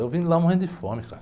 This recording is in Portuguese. Eu vim de lá morrendo de fome, cara.